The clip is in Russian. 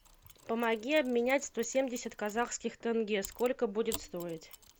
помоги обменять сто семьдесят казахских тенге сколько будет стоить